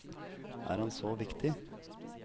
Er han så viktig?